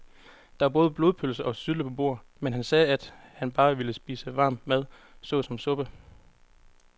Der var både blodpølse og sylte på bordet, men han sagde, at han bare ville spise varm mad såsom suppe.